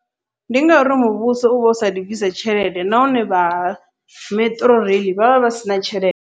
Ndi ngauri muvhuso uvha u sathu bvisela tshelede, nahone vha metro rail vha vha vha sina tshelede.